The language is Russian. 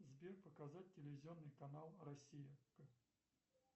сбер показать телевизионный канал россия